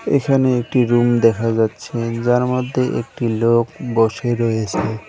এখানে একটি রুম দেখা যাচ্ছে যার মধ্যে একটি লোক বসে রয়েসে।